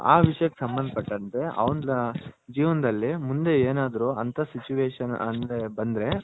ಆ ವಿಷಯಕ್ ಸಂಬಂದ ಪಟ್ಟಂತೆ ಅವ್ನ ಜೇವನದಲ್ಲಿ ಮುಂದೆ ಏನಾದ್ರು ಅಂತ Situation ಅಂತ ಬಂದ್ರೆ.